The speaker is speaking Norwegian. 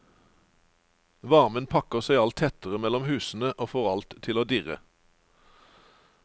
Varmen pakker seg alt tettere mellom husene, og får alt til å dirre.